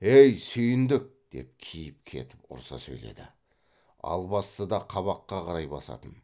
ей сүйіндік деп киіп кетіп ұрыса сөйледі албасты да қабаққа қарай басатын